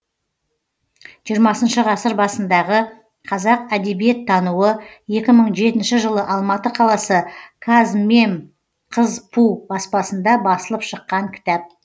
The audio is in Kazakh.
жиырмасыншы ғасыр басындағы қазақ әдебиеттануы екі мың жетінші жылы алматы қаласы казмемқызпу баспасында басылып шыққан кітап